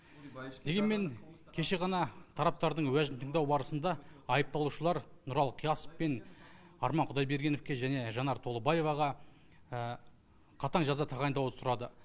дегенмен кеше ғана тараптардың уәжін тыңдау барысында айыпталушылар нұралы қиясов пен арман құдайбергеновке және жанар толыбаеваға қатаң жаза тағайындауды сұрады